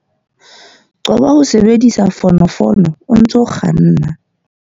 Qoba ho sebedisa fonofono o ntse o kganna.